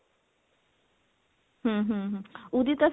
ਹਮ ਹਮ ਹਮ ਉਹਦੀ ਤਾਂ